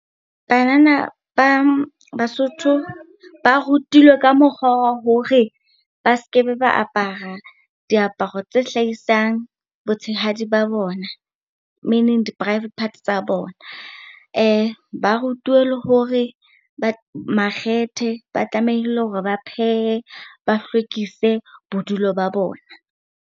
Banana ba Basotho ba rutilwe ka mokgwa wa hore ba skebe ba apara diaparo tse hlahisang botshehadi ba bona, meaning di-private part tsa bona. Ba rutuwe le hore makgethe, ba tlamehile hore ba phehe, ba hlwekise bodulo ba bona.